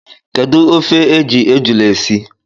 Kedu ofe e ji ejula esi?